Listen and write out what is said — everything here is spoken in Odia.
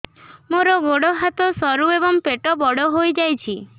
ମୋର ଗୋଡ ହାତ ସରୁ ଏବଂ ପେଟ ବଡ଼ ହୋଇଯାଇଛି